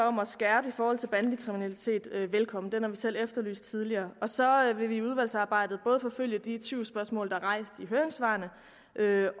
om at skærpe i forhold til bandekriminalitet velkommen den har vi selv efterlyst tidligere så vil vi i udvalgsarbejdet både forfølge de tvivlsspørgsmål der er blevet rejst i høringssvarene